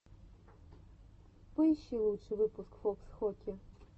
поищи лучший выпуск фокс хоки